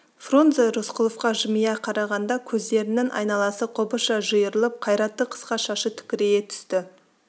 фрунзе рысқұловқа жымия қарағанда көздерінің айналасы қобызша жиырылып қайратты қысқа шашы тікірейе түсті